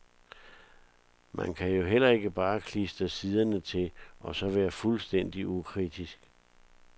Man kan jo heller ikke bare klistre siderne til, og så være fuldstændig ukritisk.